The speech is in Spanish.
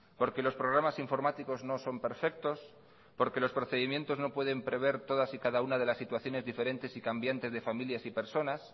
porque los programas informáticos no son perfectos porque los procedimientos no pueden prever todas y cada una de las situaciones diferentes y cambiantes de familias y personas